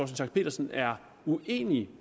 schack pedersen er uenig